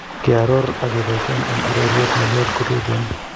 keoror ak keboisien en ororutiet ngoliot kototen